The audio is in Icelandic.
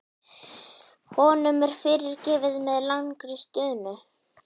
Honum er fyrirgefið með langri stunu.